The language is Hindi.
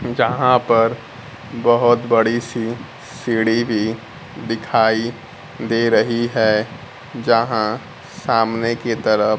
यहां पर बहुत बड़ी सी सीढ़ी भी दिखाई दे रही है यहां सामने की तरफ--